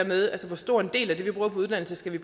med hvor stor en del af det vi bruger på uddannelse vi